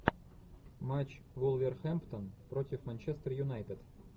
матч вулверхэмптон против манчестер юнайтед